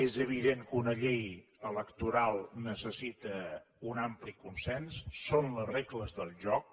és evident que una llei electoral necessita un ampli consens són les regles del joc